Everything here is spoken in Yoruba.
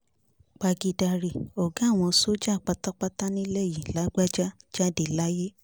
pagídarí ọ̀gá àwọn sójà pátápátá nílẹ̀ yìí lágbájá jáde láyé